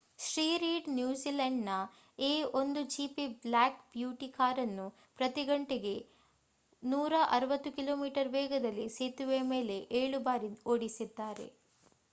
Shri Reid ನ್ಯೂಜಿಲೆಂಡ್‌ನ A 1 GP black beauty ಕಾರನ್ನು ಪ್ರತಿ ಗಂಟೆಗೆ 160 ಕಿ.ಮೀ ವೇಗದಲ್ಲಿ ಸೇತುವೆಯ ಮೇಲೆ ಏಳು ಬಾರಿ ಓಡಿಸಿದ್ದಾರೆ